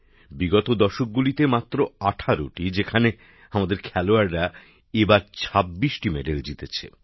বিগত দশকগুলিতে মাত্র ১৮টি যেখানে আমাদের খেলোয়াড়রা এবার ২৬টি মেডেল জিতেছে